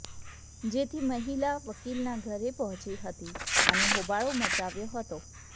જેથી મહિલા વકીલના ઘરે પહોંચી હતી અને હોબાળો મચાવ્યો હતો